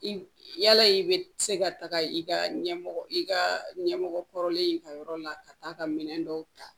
I yala i bɛ se ka taa i ka ɲɛmɔgɔ i ka ɲɛmɔgɔ kɔrɔlen ka yɔrɔ la ka taa ka minɛn dɔw ta